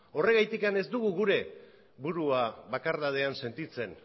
horregatik ez dugu burua bakardadean sentitzen